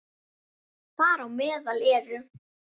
Þar á meðal eru